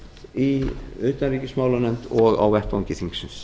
í utanríkismálanefnd og á vettvangi þingsins